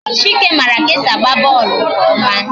Chike mara ka e si agba bọọlụ nke ọma